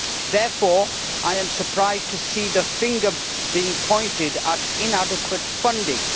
Therefore, I am surprised to see the finger being pointed at inadequate funding.